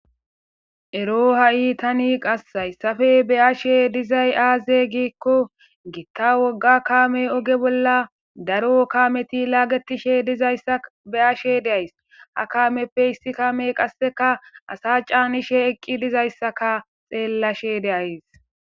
Ero tani ha'i haysappe be'ashe dizay aaze giiko,gita wogga kaame oge bolla daro kaameti laagetishe dizaysaka be'ashe de'ays. Ha kaameppe issi kaamey qasseka asa caanishe eqqi dizaysaka qasse xeelashe de'ays.